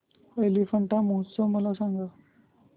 एलिफंटा महोत्सव मला सांग